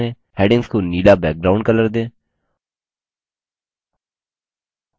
headings को नीलाब्लू background colour दें